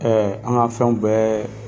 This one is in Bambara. an ka fɛnw bɛɛ